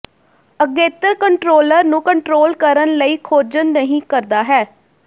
ਅਗੇਤਰ ਕੰਟਰੋਲਰ ਨੂੰ ਕੰਟਰੋਲ ਕਰਨ ਲਈ ਖੋਜਣ ਨਹੀ ਕਰਦਾ ਹੈ